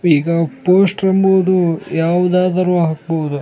ಈಗ ಪೋಸ್ಟರ್ ಅಂಬುದು ಯಾವುದಾದರೂ ಹಾಕಬಹುದು .